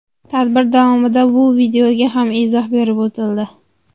Tadbir davomida bu videoga ham izoh berib o‘tildi.